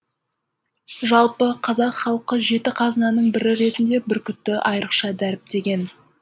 жалпы қазақ халқы жеті қазынаның бірі ретінде бүркітті айрықша дәріптеген